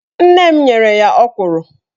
Nne m nyere ya ọkwụrụ